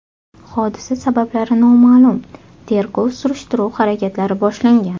Hodisa sabablari noma’lum, tergov-surishtiruv harakatlari boshlangan.